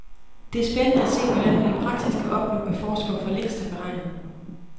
Det er spændende at se, hvordan man i praksis kan opnå, hvad forskere for længst har beregnet.